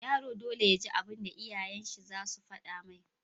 Yaro dole yaji abun da iyayen shi zasu fada mai